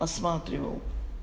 осматривал